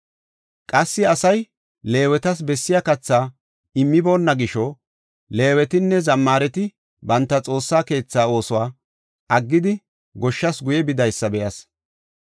Qassi asay Leewetas bessiya kathaa immiboona gisho Leewetinne zammaareti banta Xoossa keetha oosuwa aggidi goshshas guye bidaysa be7as.